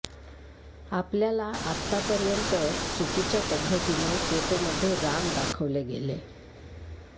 आपल्याला आतापर्यंत चुकीच्या पद्धतीने फोटोमध्ये राम दाखवले गेले